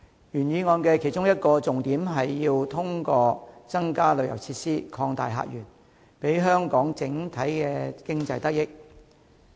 原議案的其中一個重點是通過增加旅遊設施，擴大客源，令香港整體經濟得益。